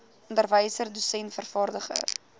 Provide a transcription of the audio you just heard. onderwyser dosent vervaardiger